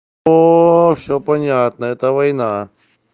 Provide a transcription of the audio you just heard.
о всё понятно это война